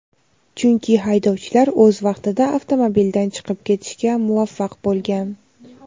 chunki haydovchilar o‘z vaqtida avtomobildan chiqib ketishga muvaffaq bo‘lgan.